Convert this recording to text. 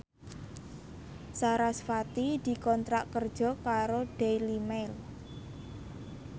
sarasvati dikontrak kerja karo Daily Mail